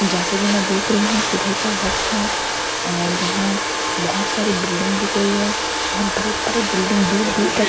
जैसा कि मैं देख रही हूं सुबह का वक्त है और यहां बहुत सारे बिल्डिंग दिख रही हैं बहुत बड़े बड़े बिल्डिंग दूर दूर तक नज़र--